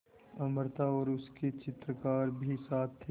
अमृता और उसके चित्रकार भी साथ थे